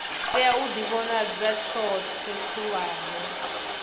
tea u ḓivhonadza khothe khulwane